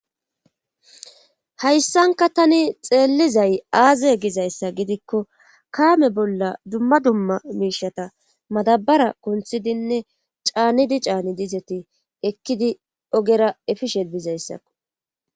hayssanka tani xeellizay aaze gizayssa gidikko kaame bolla dumma dumma miishata madabara kunthidinne caanidi caani izeti ekkidi ogera efishe bizayssakko.